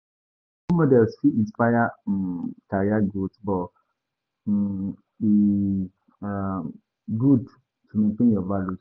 Role models fit inspire um career growth, but um e um good to maintain your values.